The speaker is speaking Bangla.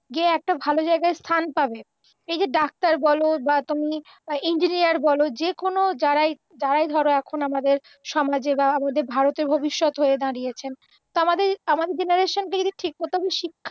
যে এত ভালো জায়গায় স্থান পাবে, এই যে ডাক্তার বল বা তুমি ইঞ্জিনিয়ার বল, যে কোনও যারাই যারাই ধরো এখন আমাদের সমাজের বা আমাদের ভারতের ভবিষ্যৎ হয়ে দাঁড়িয়েছেন, তো আমাদের আমাদের জেনারেশনটা যদি ঠিকমতো শিক্ষা